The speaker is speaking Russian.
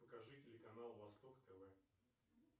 покажи телеканал восток тв